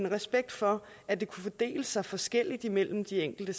respekt for at det kunne fordele sig forskelligt imellem de enkelte